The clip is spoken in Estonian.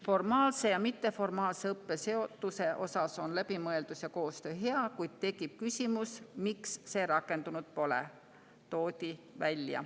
Formaalse ja mitteformaalse õppe seotuse osas on läbimõeldus ja koostöö hea, kuid tekib küsimus, miks see rakendunud pole.